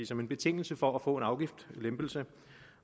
som en betingelse for at få en afgiftslempelse